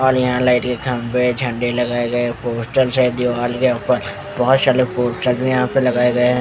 और यहां लाइट के खंबे झंडे लगाए गए पोस्टर्स है दीवाल के ऊपर बहोत सारे पोस्टर मे यहां पर लगाए गए--